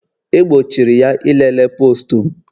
E gbochiri ya ilele postu m